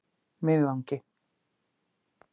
Miðvangi